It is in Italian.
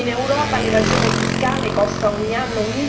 in Europa l'evasione fiscale costa ogni anno